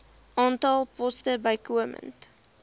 aantal poste bykomend